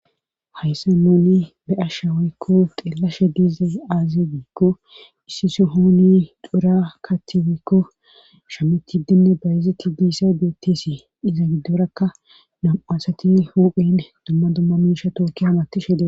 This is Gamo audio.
Hayssa noni be7a shawaykko xeelashe diize aaze giikko issi so hooni dura kaathi weykko shametidinne bayezetti diissay beetteesi iza giddorakka nam7asati huphen dumma dumma miisha tooki hamatishe diee